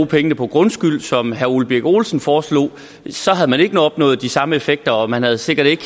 pengene på grundskylden som herre ole birk olesen foreslog så havde man ikke opnået de samme effekter og man havde sikkert ikke